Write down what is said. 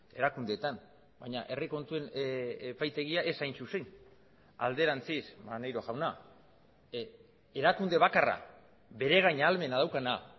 erakundeetan baina herri kontuen epaitegia ez hain zuzen alderantziz maneiro jauna erakunde bakarra beregain ahalmena daukana